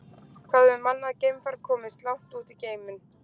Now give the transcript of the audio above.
Hvað hefur mannað geimfar komist langt út í geiminn?